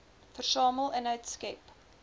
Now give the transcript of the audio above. versamel inhoud skep